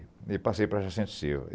E passei para Jacinto Silva.